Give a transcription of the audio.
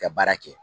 Ka baara kɛ